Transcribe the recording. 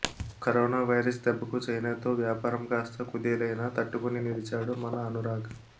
corona virus దెబ్బకు చైనాతో వ్యాపారం కాస్త కుదేలైనా తట్టుకుని నిలిచాడు మన అనురాగ్